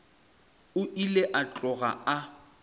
o ile a tloga a